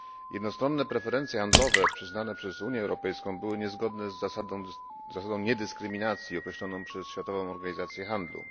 Jednostronne preferencje handlowe przyznane przez Unią Europejską były niezgodne z zasadą niedyskryminacji określoną przez Światową Organizację Handlu.